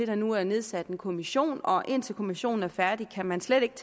der nu er nedsat en kommission og indtil kommissionen er færdig kan man slet ikke